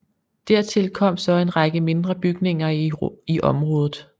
Dertil kom så en række mindre bygninger i området